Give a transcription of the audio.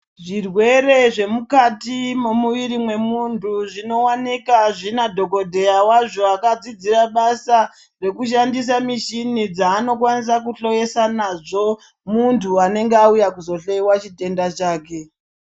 Zvirwere zvemukati memumwiri wemuntu zvino wanikwa zvina dhokodheya wazvo akadzidzira basa rekushandisa mishina dzanoshandisa kuhloyesa nazvo muntu anonga auya nechitenda chake.